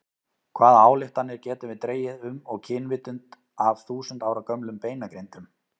Hvaða ályktanir getum við dregið um og kynvitund af þúsund ára gömlum beinagrindum?